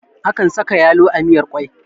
Akan saka yalo a miyar kwai